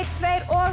tveir og